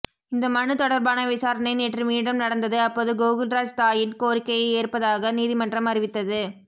இந்த மனு தொடர்பான விசாரணை நேற்று மீண்டும் நடந்தது அப்போது கோகுல்ராஜ் தாயின் கோரிக்கையை ஏற்பதாக நீதிமன்றம் அறிவித்தது